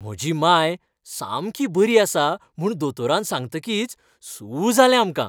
म्हजी मांय सामकी बरी आसा म्हूण दोतोरान सांगतकीच सू जालें आमकां.